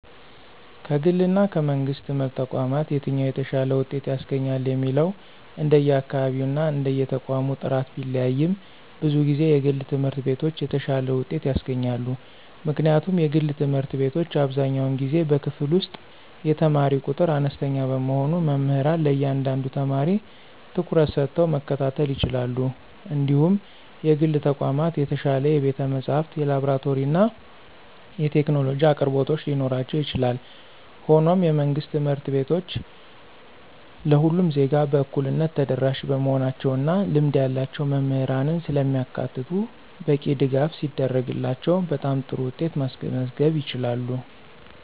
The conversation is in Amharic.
ከግልና ከመንግሥት ትምህርት ተቋማት የትኛው የተሻለ ውጤት ያስገኛል የሚለው እንደየአካባቢውና እንደየተቋሙ ጥራት ቢለያይም፣ ብዙ ጊዜ የግል ትምህርት ቤቶች የተሻለ ውጤት ያስገኛሉ። ምክንያቱም የግል ትምህርት ቤቶች አብዛኛውን ጊዜ በክፍል ውስጥ የተማሪ ቁጥር አነስተኛ በመሆኑ መምህራን ለእያንዳንዱ ተማሪ ትኩረት ሰጥተው መከታተል ይችላሉ እንዲሁም የግል ተቋማት የተሻለ የቤተ-መጻሕፍት፣ የላብራቶሪና የቴክኖሎጂ አቅርቦቶች ሊኖራቸው ይችላል። ሆኖም፣ የመንግሥት ትምህርት ቤቶች ለሁሉም ዜጋ በእኩልነት ተደራሽ በመሆናቸው እና ልምድ ያላቸው መምህራንን ስለሚያካትቱ በቂ ድጋፍ ሲደረግላቸው በጣም ጥሩ ውጤት ማስመዝገብ ይችላሉ።